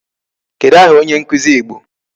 Kedụ aha onye nkụzi Igbo?